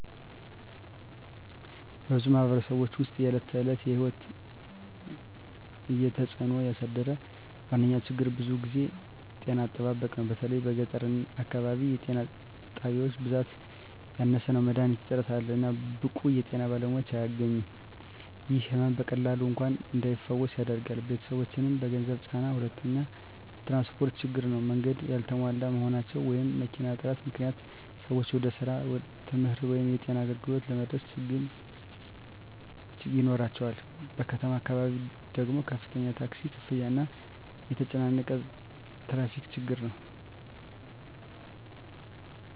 በብዙ ማኅበረሰቦች ውስጥ የዕለት ተዕለት ሕይወትን እየተጽእኖ ያሳደረ ዋነኛ ችግር ብዙ ጊዜ ጤና አጠባበቅ ነው። በተለይ በገጠር አካባቢ የጤና ጣቢያዎች ብዛት ያነሰ ነው፣ መድሀኒት እጥረት አለ፣ እና ብቁ የጤና ባለሙያዎች አያገኙም። ይህ ሕመም በቀላሉ እንኳን እንዳይፈወስ ያደርጋል፣ ቤተሰቦችንም በገንዘብ ይጫናል። ሁለተኛው ትራንስፖርት ችግር ነው። መንገዶች ያልተሟሉ መሆናቸው ወይም መኪና እጥረት ምክንያት ሰዎች ወደ ስራ፣ ትምህርት ወይም የጤና አገልግሎት ለመድረስ ችግኝ ይኖራቸዋል። በከተማ አካባቢ ደግሞ ከፍተኛ ታክሲ ክፍያ እና የተጨናነቀ ትራፊክ ችግር ነው።